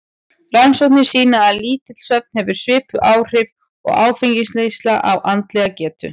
Rannsóknir sýna að lítill svefn hefur svipuð áhrif og áfengisneysla á andlega getu.